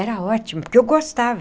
Era ótimo, porque eu gostava.